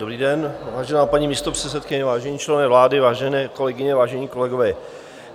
Dobrý den, vážená paní místopředsedkyně, vážení členové vlády, vážené kolegyně, vážení kolegové.